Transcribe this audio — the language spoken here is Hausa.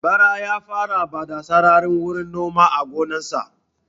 Bara ya fara bada sarari wurin noma a gonan sa